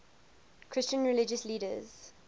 christian religious leaders